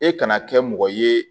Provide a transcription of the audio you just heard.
E kana kɛ mɔgɔ ye